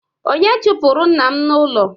Onye chụpụrụ nna m n'ụlọ?